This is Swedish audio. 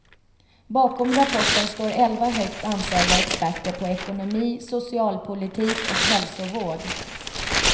Bakom rapporten står elva högt ansedda experter på ekonomi, socialpolitik och hälsovård.